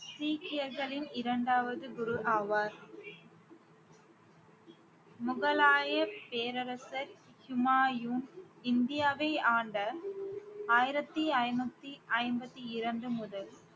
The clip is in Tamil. சீக்கியர்களின் இரண்டாவது குரு ஆவார் முகலாய பேரரசர் ஹூமாயூன் இந்தியாவை ஆண்ட ஆயிரத்தி ஐநூத்தி ஐம்பத்தி இரண்டு முதல்